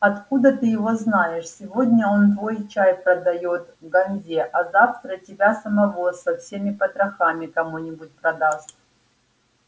откуда ты его знаешь сегодня он твой чай продаёт ганзе а завтра тебя самого со всеми потрохами кому-нибудь продаст